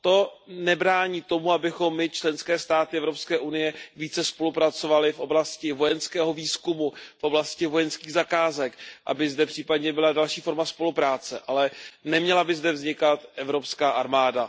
To nebrání tomu, abychom my, členské státy EU, více spolupracovaly v oblasti vojenského výzkumu, v oblasti vojenských zakázek, aby zde případně byla další forma spolupráce, ale neměla by zde vznikat evropská armáda.